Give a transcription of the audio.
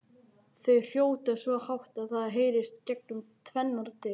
Þau hrjóta svo hátt að það heyrist gegnum tvennar dyr!